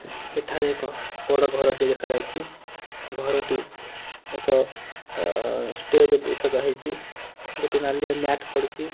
ଏଠାରେ ଏକ ବଡ଼ ଘର ଟିଏ ଦେଖାଯାଉଛି ଘର ଟି ଏକ ଷ୍ଟେଜ ବି ସଜା ହେଇଛି ଗୋଟେ ନାଲିଆ ମ୍ୟାଟ ବି ପଡିଛି।